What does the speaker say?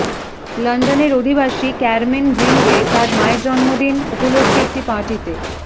লন্ডনের অধিবাসী Carmen Greenway তার মায়ের জন্মদিন উপলক্ষে একটি পার্টিতে